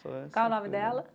Qual o nome dela?